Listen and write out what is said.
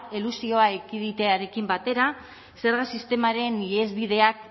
elusioa ekiditearekin batera zerga sistemaren ihesbideak